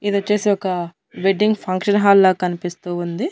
ఇదొచ్చేసి ఒక wedding function hall లా కన్పిస్తూ ఉంది.